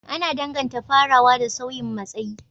Ana danganta farawa da sauyin matsayi,